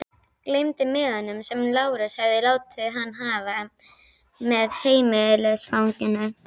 Gleymdi miðanum sem Lárus hafði látið hann hafa, með heimilisfanginu.